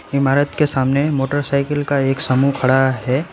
इमारत के सामने मोटर साइकिल का एक समूह खड़ा है।